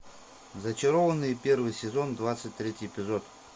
зачарованные первый сезон двадцать третий эпизод